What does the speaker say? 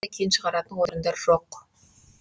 кен шығаратын орындар жоқ